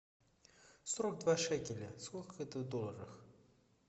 сорок два шекеля сколько это в долларах